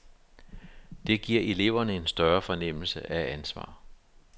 Det giver eleverne en større fornemmelse af ansvar.